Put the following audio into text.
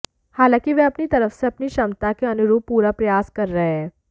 हालांकि वह अपनी तरफ से अपनी क्षमता के अनुरूप पूरा प्रयास कर रहे हैं